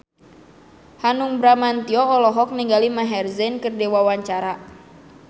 Hanung Bramantyo olohok ningali Maher Zein keur diwawancara